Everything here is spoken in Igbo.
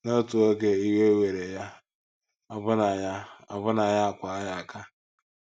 N’otu oge iwe were ya, ọbụna ya, ọbụna ya akwaa ya aka!